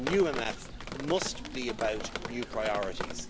A new MFF must be about new priorities